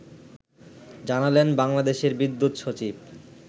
জানালেন বাংলাদেশের বিদ্যুৎ সচিব